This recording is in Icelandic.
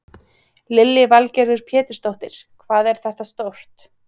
Lillý Valgerður Pétursdóttir: Hvað er þetta stórt?